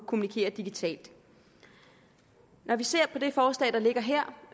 kommunikere digitalt når vi ser på det forslag der ligger her